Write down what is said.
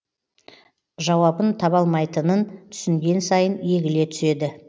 жауабын таба алмайтынын түсінген сайын егіле түседі